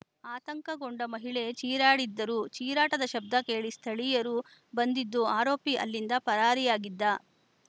ಆತಂಕಗೊಂಡ ಮಹಿಳೆ ಚೀರಾಡಿದ್ದರು ಚಿರಾಟ್ಟದ ಶಬ್ಧ ಕೇಳಿದ ಸ್ಥಳೀಯರು ಬಂದಿದ್ದು ಆರೋಪಿ ಅಲ್ಲಿಂದ ಪರಾರಿಯಾಗಿದ್ದ